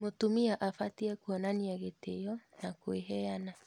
mũtumia abatie kuonania gĩtĩo na kwĩheana